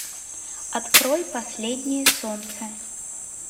открой последнее солнце